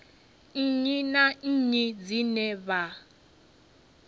nnyi na nnyi dzine vha